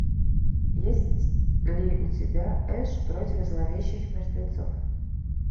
есть ли у тебя эш против зловещих мертвецов